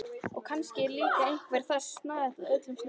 Og kannski er líka einveran það snauðasta af öllu snauðu.